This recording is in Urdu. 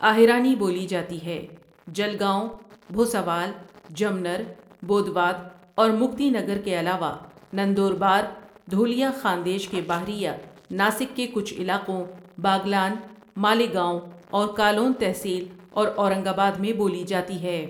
اآہیرانی بولی جاتی ہے جلگاؤں بھوساوال، جمنر، بودواد اور مکتی نگرکے علاوہ نندوربار، دھولیہ خاندیش کے باہریہ ناسک کے کچھ علاقوں باگلان ، مالیگاؤں اور کالون تحصیل اور اورنگ آباد میں بولی جاتی ہے ۔